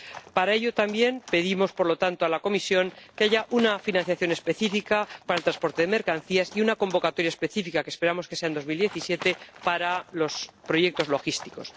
Para ello también pedimos, por lo tanto, a la Comisión que haya una financiación específica para el transporte de mercancías y una convocatoria específica, que esperamos que sea en 2017, para los proyectos logísticos.